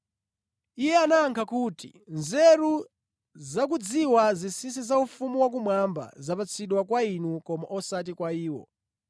Iye anayankha kuti, “Nzeru zakudziwa zinsinsi za ufumu wakumwamba zapatsidwa kwa inu koma osati kwa iwo.